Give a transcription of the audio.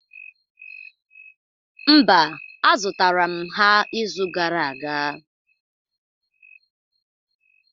Mba, azụtara m ha ịzụ gara aga.